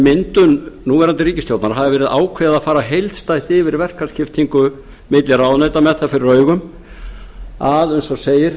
myndun núverandi ríkisstjórnar hafi verið ákveðið að fara heildstætt yfir verkaskiptingu milli ráðuneyta með það fyrir augum að eins og segir